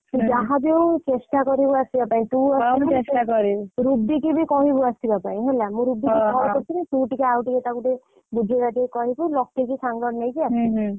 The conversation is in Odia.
ତୁ ଯାହାବି ହଉ ଚେଷ୍ଟା କରିବୁ ଆସିବା ପାଇଁ ରୁବି କୁ ବି କହିବୁ ଆସିବା ପାଇଁ ହେଲା ମୁଁ ରୁବୀକୁ call କରିଥିଲି ତୁ ଆଉଟିକେ ତାକୁ ଟିକେ ବୁଝେଇ ବଜହେଇ କହିବୁ ଲକି କୁ ସାଙ୍ଗରେ ନେଇକି ଆସିବୁ।